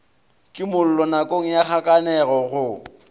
kimollo nakong ya kgakanego go